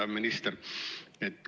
Hea minister!